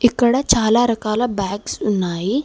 ఇక్కడ చాలా రకాల బ్యాగ్స్ ఉన్నాయి.